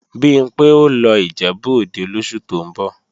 Bimpé ó lọ Ìjẹ̀bú-Òde lóṣù tó ń bọ̀